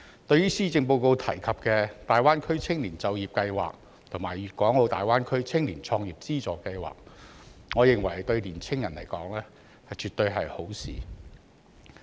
對於施政報告提及的大灣區青年就業計劃及粵港澳大灣區青年創業資助計劃，我認為對年輕人來說絕對是好事。